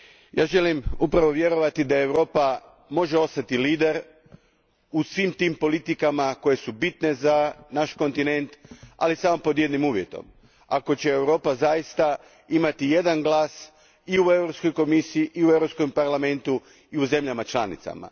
Ja želim upravo vjerovati da Europa može ostati lider u svim tim politikama koje su bitne za naš kontinent, ali samo pod jednim uvjetom Ako će Europa zaista imati jedan glas i u Europskoj komisiji i u Europskom parlamentu i u zemljama članicama.